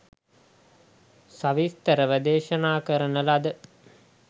සවිස්තරව දේශනා කරන ලද